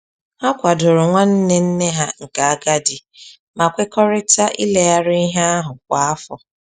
Ha kwadoro nwanne nne ha nke agadi ma kwekọrịta ileghari ihe ahụ kwa afọ